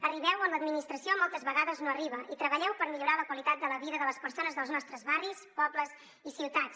arribeu on l’administració moltes vegades no arriba i treballeu per millorar la qualitat de la vida de les persones dels nostres barris pobles i ciutats